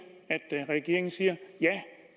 regeringen siger